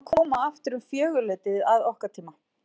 Við yrðum að koma aftur um fjögurleytið að okkar tíma.